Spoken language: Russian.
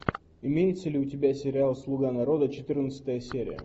имеется ли у тебя сериал слуга народа четырнадцатая серия